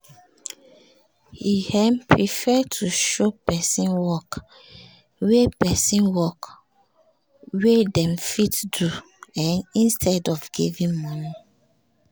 he um prefer to show person work wey person work wey dem fit do um instead of giving money